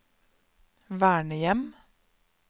vernehjem